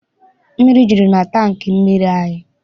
Mmiri juru na tankị mmiri anyị.